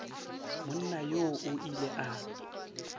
monna yoo o ile a